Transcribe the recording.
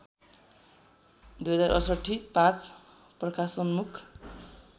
२०६८ ५ प्रकाशोन्मुख